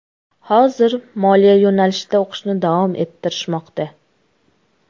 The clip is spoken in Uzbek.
Hozir moliya yo‘nalishida o‘qishni davom ettirishmoqda.